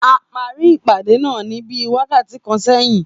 A parí ìpàdé náà ní bíí wákàtí kan sẹyin